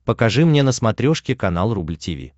покажи мне на смотрешке канал рубль ти ви